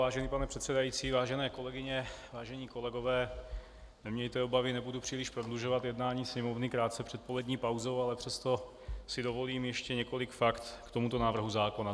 Vážený pane předsedající, vážené kolegyně, vážení kolegové, nemějte obavy, nebudu příliš prodlužovat jednání Sněmovny krátce před polední pauzou, ale přesto si dovolím ještě několik fakt k tomuto návrhu zákona.